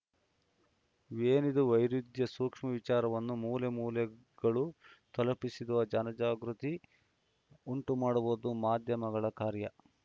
ಏನಿದು ವೈರುದ್ಯ ಸೂಕ್ಷ್ಮ ವಿಚಾರವನ್ನು ಮೂಲೆ ಮೂಲೆಗಳು ತಲುಪಿಸಿ ಜನಜಾಗೃತಿ ಉಂಟುಮಾಡುವುದು ಮಾಧ್ಯಮಗಳ ಕಾರ್ಯ